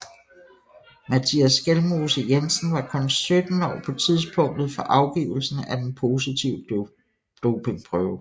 Mattias Skjelmose Jensen var kun 17 år på tidspunktet for afgivelsen af den positive dopingprøve